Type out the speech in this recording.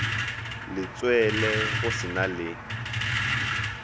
letswele go se na le